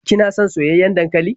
Kina son soyayyen dankali?